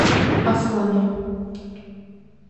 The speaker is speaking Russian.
аслане